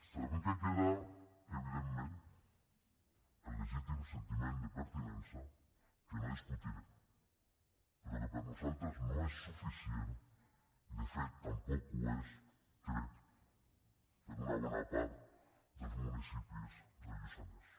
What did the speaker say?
sabem que queda evidentment el legítim sentiment de pertinença que no discutiré però que per nosaltres no és suficient i de fet tampoc ho és crec per a una bona part dels municipis del lluçanès